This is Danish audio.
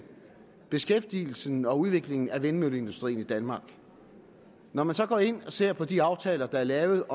beskæftigelsen og udviklingen af vindmølleindustrien i danmark når man så går ind og ser på de aftaler der er lavet